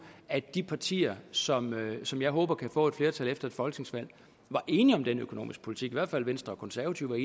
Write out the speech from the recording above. at de partier som som jeg håber kan få et flertal efter et folketingsvalg var enige om den økonomiske politik i hvert fald venstre og konservative